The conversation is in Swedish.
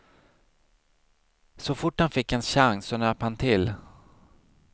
Så fort han fick en chans så nöp han till.